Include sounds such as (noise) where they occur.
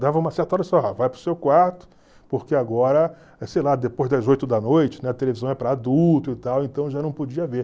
Dava uma certa hora (unintelligible) vai para o seu quarto, porque agora, sei lá, depois das oito da noite, a televisão é para adulto e tal, então já não podia ver.